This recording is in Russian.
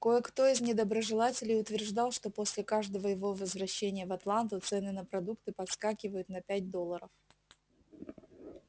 кое-кто из недоброжелателей утверждал что после каждого его возвращения в атланту цены на продукты подскакивают на пять долларов